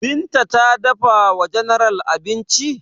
Binta ta dafa wa general abinci?